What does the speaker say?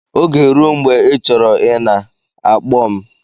Oge rue mgbe ị chọrọ ịna, akpọ m